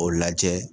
O lajɛ